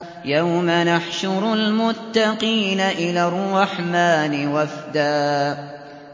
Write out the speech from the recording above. يَوْمَ نَحْشُرُ الْمُتَّقِينَ إِلَى الرَّحْمَٰنِ وَفْدًا